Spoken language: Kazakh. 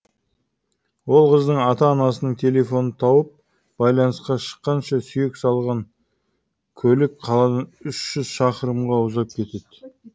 ол қыздың ата анасының телефонын тауып байланысқа шыққанша сүйек салған көлік қаладан үш жүз шақырымға ұзап кетеді